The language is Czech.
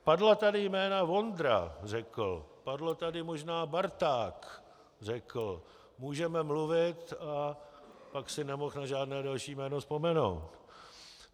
Padla tady jména Vondra, řekl, padlo tady možná Barták, řekl, můžeme mluvit - a pak si nemohl na žádné další jméno vzpomenout.